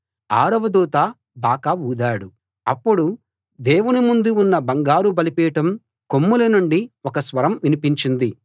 ఆరవ దూత బాకా ఊదాడు అప్పుడు దేవుని ముందు ఉన్న బంగారు బలిపీఠం కొమ్ముల నుండి ఒక స్వరం వినిపించింది